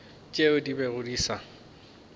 tšeo di bego di sa